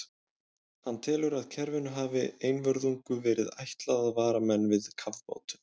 Hann telur, að kerfinu hafi einvörðungu verið ætlað að vara menn við kafbátum.